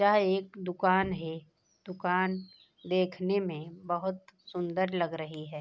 यह एक दुकान है दुकान देखने में बहुत सुन्दर लग रही है।